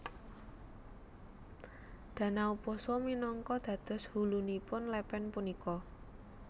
Danau Poso minangka dados hulunipun lepen punika